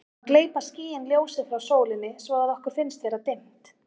þá gleypa skýin ljósið frá sólinni svo að okkur finnst vera dimmt